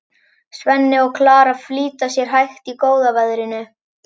Svenni og Klara flýta sér hægt í góða veðrinu.